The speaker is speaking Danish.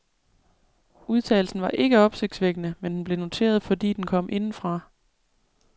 Udtalelsen var ikke opsigtsvækkende, men den blev noteret, fordi den kom indefra.